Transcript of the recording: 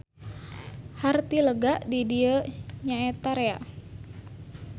Harti lega di dieu nyaeta rea.